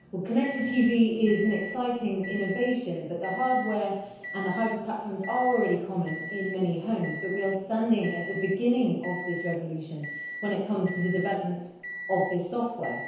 Madam President, connected TV is an exciting innovation. The hardware and the hyper platforms are already common in many homes, but we are standing at the beginning of this revolution when it comes to the development of the software.